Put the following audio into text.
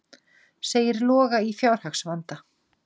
Segir Loga í fjárhagsvanda